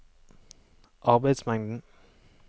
arbeidsmengden